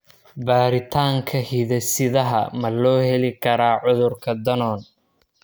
Baaritaanka hidde-sidaha ma loo heli karaa cudurka Danon?